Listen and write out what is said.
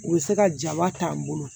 U bɛ se ka jaba t'an bolo